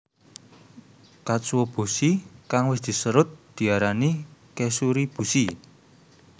Katsuobushi kang wis diserut diarani kezuribushi